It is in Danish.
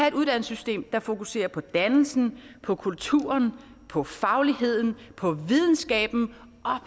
et uddannelsessystem der fokuserer på dannelsen på kulturen på fagligheden på videnskaben